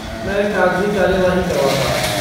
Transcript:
मैं कागजी कार्यवाही करवाता हूँ।